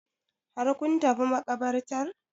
Har kun tafi maƙabartar?